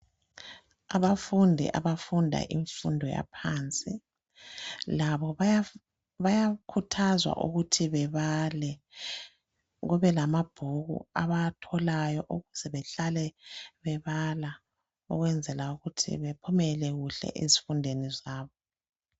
Abafundi abafunda imfundo yaphansi labo bayakhuthazwa ukuthi bebale kube lamabhuku abawatholayo ukuze behlale bebala ukwenzela ukuthi bephumele kuhle ezifundweni zabo.